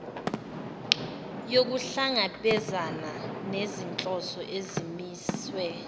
yokuhlangabezana nezinhloso ezimisiwe